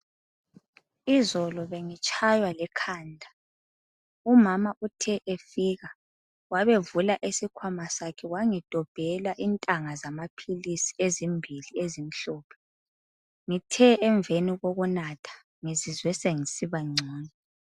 Izolo bengitshaywa likhanda. Umama uthe efika wabevula isikhwama sakhe wangidobhela intanga zamaphilisi ezimbili ezimhlophe. Ngithe emveni kokunatha ngizizwe sengisiba ngcono.